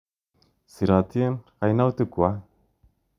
Sirotin kainautik kwak.